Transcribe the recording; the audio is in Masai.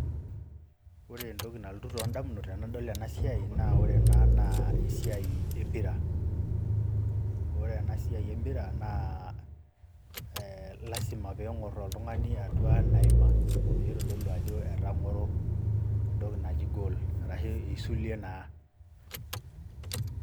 Ore entoki nalotu too damnut tenadol ena ena siai naa ore ena naa esiai empira ore ena siai empira naa lazima peyie eng'orr oltungani atua ena ima peyie eitodolu ajo etang'oro entoki naji goal, Arashu eisulie naa.